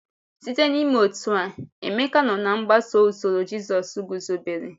Site n’ime otú a, Emeka nọ na-agbaso usoro Jízọs guzobere.